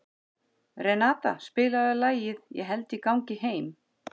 Renata, spilaðu lagið „Ég held ég gangi heim“.